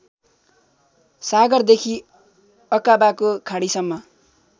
सागरदेखि अकाबाको खाडीसम्म